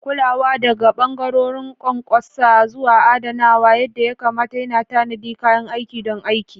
Kulawa, daga ɓangarorin ƙwanƙwasa zuwa adanawa yadda ya kamata, yana tanadi kayan aikin don aiki.